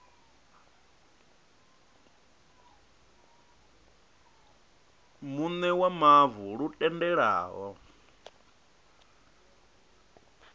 muṋe wa mavu lu tendelaho